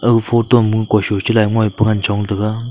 aga photo ma kui sui cha lai ngoipa ngan chong taga.